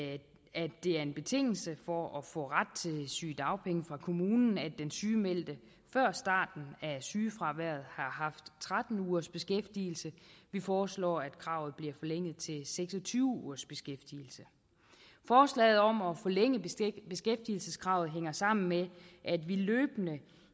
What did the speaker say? at det er en betingelse for at få ret til sygedagpenge fra kommunen at den sygemeldte før starten af sygefraværet har haft tretten ugers beskæftigelse vi foreslår at kravet bliver forlænget til seks og tyve ugers beskæftigelse forslaget om at forlænge beskæftigelseskravet hænger sammen med at vi løbende